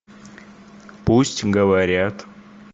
пусть говорят